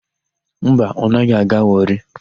Mba, ọ naghị aga Wọrị.